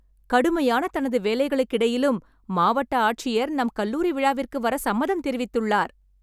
கடுமையான தனது வேலைகளுக்கிடையிலும் மாவட்ட ஆட்சியர் நம் கல்லூரி விழாவிற்கு வர சம்மதம் தெரிவித்துள்ளார்